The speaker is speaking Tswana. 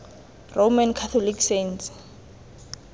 roman catholic saints